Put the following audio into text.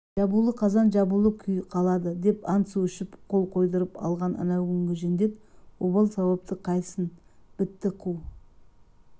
жабулы қазан жабулы күй қалады деп ант су ішіп қол қойғызып алған әнеукүнгі жендет обал сауапты қайтсін бітті қу